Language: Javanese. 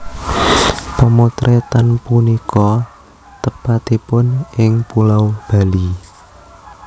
Pemotretan punika tepatipun ing Pulau Bali